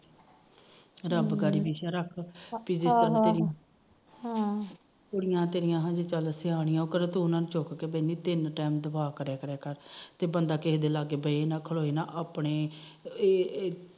ਰੱਬ ਹਮ ਕੁੜੀਆਂ ਤੇਰੀਆਂ ਚੱਲ ਹਜੇ ਸਿਆਣੀਆਂ ਉਹ ਕਿਹੜਾ ਤੂੰ ਉਹਨਾ ਨੂੰ ਚੁਕ ਕੇ ਬਹਿੰਦੀ ਤਿੰਨ ਟੈਮ ਦੁਆ ਕਰਿਆਂ ਕਰ ਤੇ ਬੰਦਾ ਕਿਸੇ ਦੇ ਲਾਗੇ ਬਹੇ ਨਾ ਖਲੋਏ ਨਾ ਆਪਣੇ